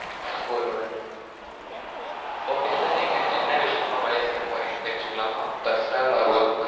four one okay sir நீங்க என்ன விசயமா மலேசியா போறிங்கனு தெரிஞ்சிகிலாமா personal or workfour one